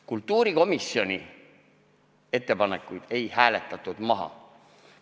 Kultuurikomisjoni ettepanekuid ei hääletatud maha.